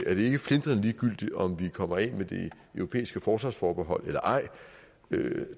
er det ikke flintrende ligegyldigt om vi kommer af med det europæiske forsvarsforbehold eller ej